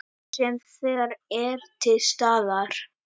Sem þegar er til staðar.